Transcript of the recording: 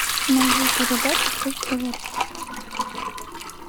найди передачу пусть говорят